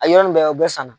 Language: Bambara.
A yɔrɔ nin bɛɛ o bɛ san na